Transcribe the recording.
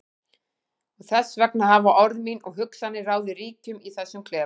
Og þess vegna hafa orð mín og hugsanir ráðið ríkjum í þessum klefa.